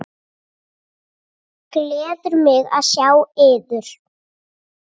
Gleður mig að sjá yður.